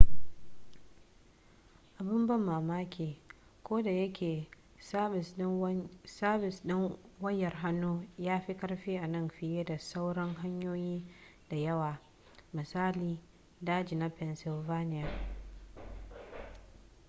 abin ban mamaki ko da yake sabis ɗin wayar hannu ya fi ƙarfi a nan fiye da sauran hanyoyin da yawa misali daji na pennsylvania